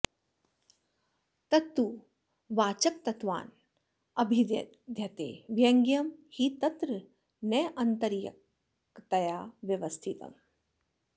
तत्तु वाचकत्वान्न भिद्यते व्यङ्ग्यम् हि तत्र नान्तरीयकतया व्यवस्थितम्